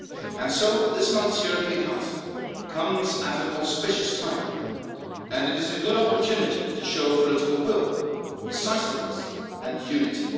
And so, this month's European Council comes at an auspicious time, and it is a good opportunity to show political will, decisiveness and unity.